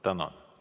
Tänan!